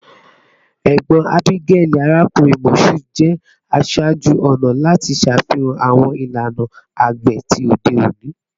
Egbon Abigail, Arakunrin Mashood, jẹ aṣaaju-ọna lati ṣafihan awọn ilana agbe ti ode oni